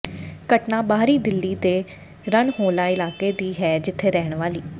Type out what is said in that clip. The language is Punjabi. ਘਟਨਾ ਬਾਹਰੀ ਦਿੱਲੀ ਦੇ ਰਨਹੋਲਾ ਇਲਾਕੇ ਦੀ ਹੈ ਜਿਥੇ ਰਹਿਣ ਵਾਲੀ